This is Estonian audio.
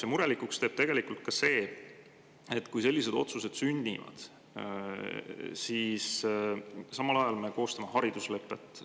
Ja murelikuks teeb tegelikult ka see, et kui sellised otsused sünnivad, siis samal ajal me koostame hariduslepet.